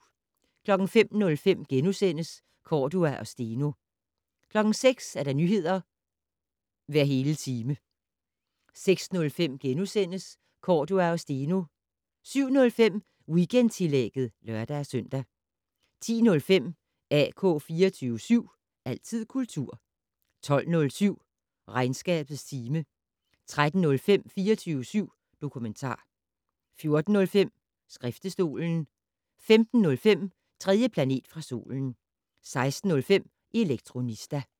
05:05: Cordua og Steno * 06:00: Nyheder hver hele time 06:05: Cordua og Steno * 07:05: Weekendtillægget (lør-søn) 10:05: AK 24syv. Altid kultur 12:07: Regnskabets time 13:05: 24syv dokumentar 14:05: Skriftestolen 15:05: 3. planet fra solen 16:05: Elektronista